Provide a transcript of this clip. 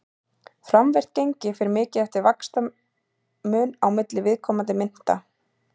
Framvirkt gengi fer mikið eftir vaxtamun á milli viðkomandi mynta.